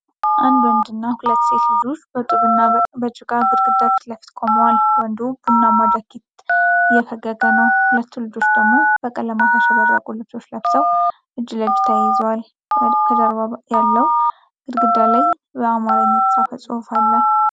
አንድ ወንድና ሁለት ሴት ልጆች በጡብና በጭቃ ግድግዳ ፊት ለፊት ቆመዋል። ወንዱ ቡናማ ጃኬት እየፈገገ ነው። ሁለቱ ልጆች ደግሞ በቀለማት ያሸበረቁ ልብሶች ለብሰው እጅ ለእጅ ተያይዘዋል። ከጀርባ ያለው ግድግዳ ላይ በአማርኛ የተጻፈ ጽሑፍ አለ።